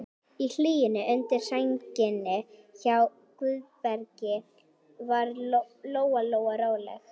Í hlýjunni undir sænginni hjá Guðbergi varð Lóa-Lóa rólegri.